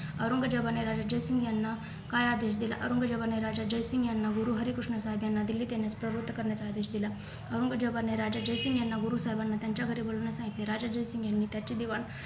औरंगजेबने राजा जयसिंग यांना काय आदेश दिला औरंगजेबाने राजा जयसिंग यांना गुरुहरीकृष्णा साहेब यांना दिल्लीत येण्यास प्रवृत्त करण्याचा आदेश दिला औरंगजेबाने राजा जयसिंग यांना गुरु साहेबांना त्यांच्या घरी बोलावल्यास सांगितले राजा जयसिंग यांनी त्याचे दिवाण